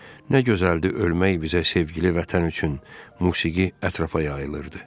Nə gözəldir ölmək bizə sevgili vətən üçün, musiqi ətrafa yayılırdı.